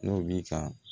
N'o bi ka